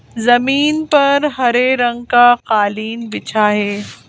जमीन पर हरे रंग का कालीन बिछा है।